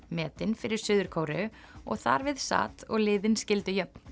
metin fyrir Suður Kóreu og þar við sat og liðin skildu jöfn